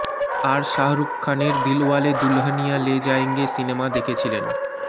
আর শাহরুখ খানের দিলওয়ালে দুলহনিয়া লে জায়েঙ্গে সিনেমা দেখেছিলেন